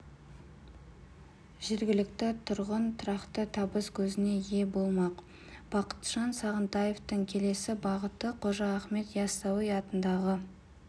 жергілікті тұрғын тұрақты табыс көзіне ие болмақ бақытжан сағынтаевтың келесі бағыты қожа ахмет яссауи атындағы